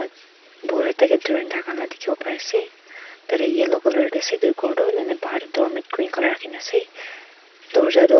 ekta kae dhurin thakala dekhivole pari ase tatey yellow colour dae ase etu ghor doh bahar dae doormat green colour rakhina ase dowarja tuh--